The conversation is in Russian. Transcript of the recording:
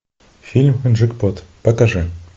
фильм джекпот покажи